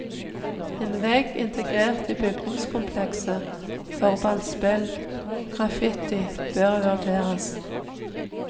En vegg integrert i bygningskomplekset for ballspill og graffiti bør vurderes.